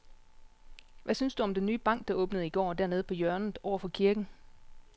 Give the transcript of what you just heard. Hvad synes du om den nye bank, der åbnede i går dernede på hjørnet over for kirken?